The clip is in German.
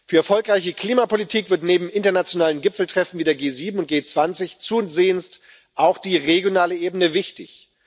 Für erfolgreiche Klimapolitik wird neben internationalen Gipfeltreffen wie der G7 und G20 zusehends auch die regionale Ebene wichtig.